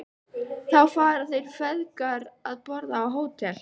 Þá fara þeir feðgar að borða á Hótel